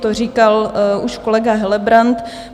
To říkal už kolega Helebrant.